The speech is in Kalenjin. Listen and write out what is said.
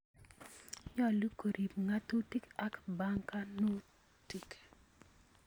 Nyolu koriib ng�atutik ak bankanuut